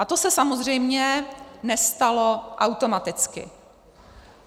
A to se samozřejmě nestalo automaticky.